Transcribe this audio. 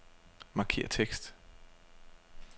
Markér tekst.